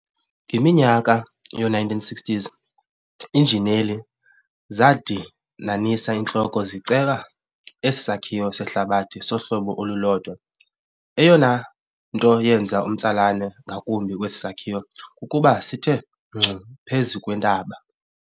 Ngeminyaka yoo-1960s iinjineli zadinanisa iintloko ziceba esi sakhiwo sehlabathi sohlobo olulodwa. Eyona nto yenza umtsalane ngakumbi kwesi sakhiwo kukuba sithe ngcu phezu kwentaba.